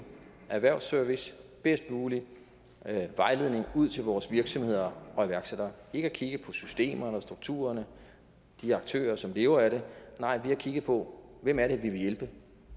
erhvervsservice bedst mulig vejledning ud til vores virksomheder og iværksættere vi har ikke kigget på systemerne og strukturerne og de aktører som lever af det nej vi har kigget på hvem er det vi vil hjælpe